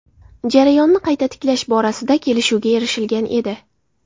Jarayonni qayta tiklash borasida kelishuvga erishilgan edi.